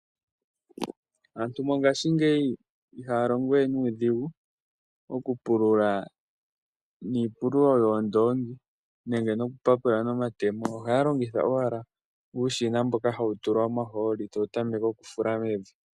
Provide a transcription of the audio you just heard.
Aantu mongashingeyi ihaya longo we nuudhigu okupulula niipululo yoondoongi nenge Okupapula nomatemo, Ohaya longitha owala uushina mboka hawu tulwa omahooli tawu tameke okufula mevi